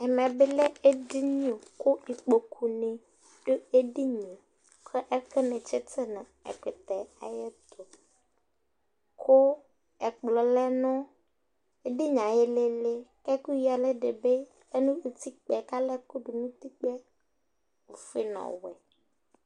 ɛmɛ bi lɛ ɛdini kò ikpoku dini do edinie kò ɛkò ni tsito n'ɛkutɛ ayɛto kò ɛkplɔ lɛ no edinie ayi ilili k'ɛkò ya ɛlu di bi lɛ no utikpaɛ k'alɛ ɛkò do n'utikpaɛ ofue n'ɔwɛ